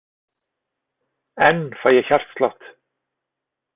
Enn fæ ég hjartslátt.